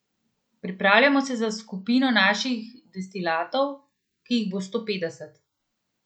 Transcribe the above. Pripravljamo se za skupino naših destilatov, ki jih bo sto petdeset.